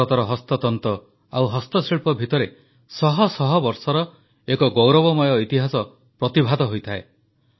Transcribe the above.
ଭାରତର ହସ୍ତତନ୍ତ ଆଉ ହସ୍ତଶିଳ୍ପ ଭିତରେ ଶହଶହ ବର୍ଷର ଏକ ଗୌରବମୟ ଇତିହାସ ପ୍ରତିଭାତ ହୋଇଥାଏ